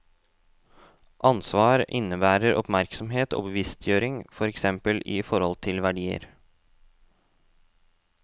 Ansvar innebærer oppmerksomhet og bevisstgjøring, for eksempel i forhold til verdier.